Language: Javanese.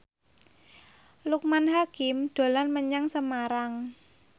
Loekman Hakim dolan menyang Semarang